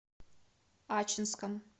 ачинском